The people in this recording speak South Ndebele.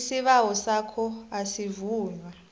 isibawo sakho asivunywa